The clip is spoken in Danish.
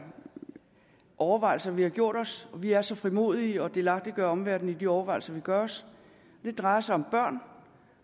overvejelser vi har gjort os og vi er så frimodige at delagtiggøre omverdenen i de overvejelser vi gør os det drejer sig om børn